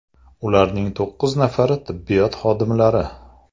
Ularning to‘qqiz nafari tibbiyot xodimlari.